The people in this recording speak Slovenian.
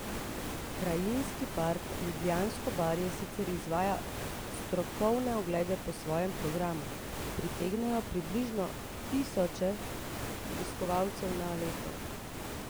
Krajinski park Ljubljansko barje sicer izvaja strokovne oglede po svojem programu, pritegnejo približno tisoč obiskovalcev na leto.